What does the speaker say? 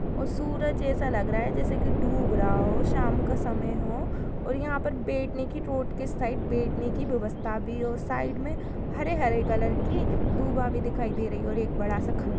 और सूरज जैसा लग रहा है जैसे कि डूब रहा हो जोकि शाम का समय हो और यहाँं पर बैठने की रोड के साइड बैठने की व्यवस्था भी हो। साइड में हरे-हरे कलर की दूबा भी दिखाई दे रही है और एक बड़ा सा खंभा --